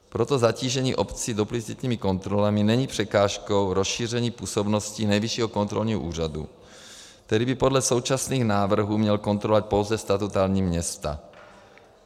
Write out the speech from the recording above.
Proto zatížení obcí duplicitními kontrolami není překážkou rozšíření působnosti Nejvyššího kontrolního úřadu, který by podle současných návrhů měl kontrolovat pouze statutární města.